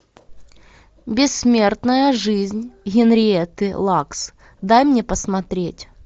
бессмертная жизнь генриетты лакс дай мне посмотреть